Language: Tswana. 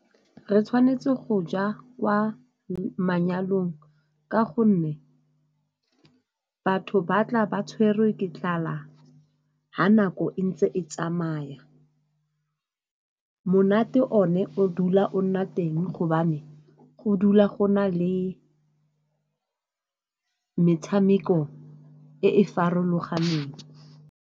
Re tshwanetse go ja kwa manyalong ka gonne batho ba tla ba tshwerwe ke tlala, ga nako e ntse e tsamaya. Monate one o dula o nna teng gobane go dula go na le metshameko e e farologaneng.